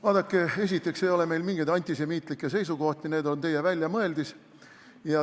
Vaadake, esiteks ei ole meil mingeid antisemiitlikke seisukohti, need on teie väljamõeldis.